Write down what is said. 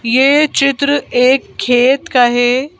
ये चित्र एक खेत का है।